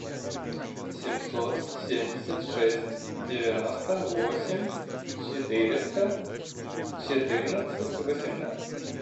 семьсот семьдесят шесть девяносто восемь четыреста четырнадцать восемнадцать